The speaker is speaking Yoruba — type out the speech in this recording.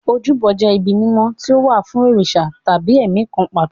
Ojúbọ jẹ́ ibi mímọ́ tí ó wà fún òrìṣà tàbí ẹ̀mí kan pàtó.